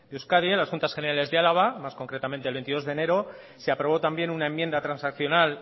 euskadi a las juntas generales de álava más concretamente el veintidós de enero se aprobó también una enmienda transaccional